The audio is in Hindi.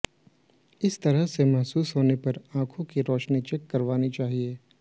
इस तरह से महसूस होने पर आंखों की रोशनी चेक करवानी चाहिए